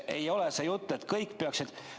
Ei ole sellist juttu.